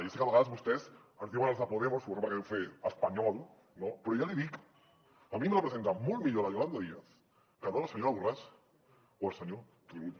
ja sé que a vegades vostès ens diuen els de podemos suposo perquè deu fer espanyol però ja li dic a mi em representa molt millor la yolanda díaz que no la senyora borràs o el senyor turull